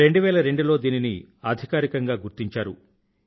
2002లో దీనిని అధికారికంగా గుర్తించారు